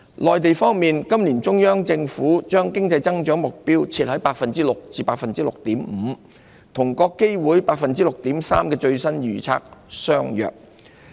內地方面，今年中央政府將經濟增長目標設於 6% 至 6.5%， 與國基會 6.3% 的最新預測相若。